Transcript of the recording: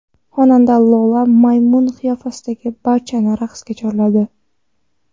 Xonanda Lola maymun qiyofasida barchani raqsga chorladi .